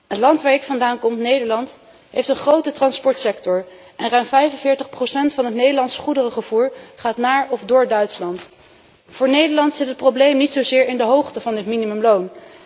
Het land waar ik vandaan kom, Nederland, heeft een grote transportsector en ruim 45 van het Nederlands goederenvervoer gaat naar of door Duitsland. Voor Nederland zit het probleem niet zozeer in de hoogte van het minimumloon.